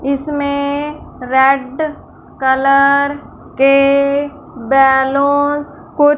इसमें red colour के balloon को--